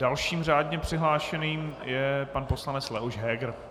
Dalším řádně přihlášeným je pan poslanec Leoš Heger.